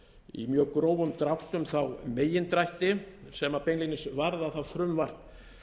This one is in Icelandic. í mjög grófum dráttum þá megindrætti sem beinlínis varða það frumvarp